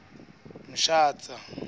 mshadza